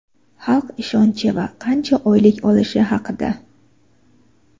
xalq ishonchi va qancha oylik olishi haqida.